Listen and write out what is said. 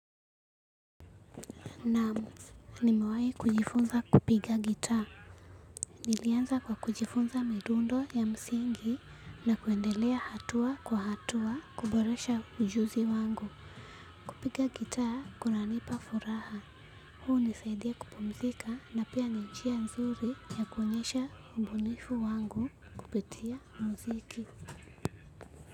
Naam, nimewahi kujifunza kupiga gitaa. Nilianza kwa kujifunza midundo ya msingi na kuendelea hatua kwa hatua kuboresha ujuzi wangu. Kupiga gitaa kunanipa furaha. Huu hunisaidia kupumzika na pia ni njia nzuri ya kuonyesha ubunifu wangu kupitia mziki.